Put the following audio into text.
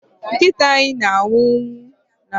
Nkịta anyị na-amụ nwa n'oge a ụnyaahụ